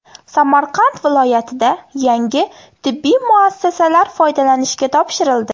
Samarqand viloyatida yangi tibbiy muassasalar foydalanishga topshirildi.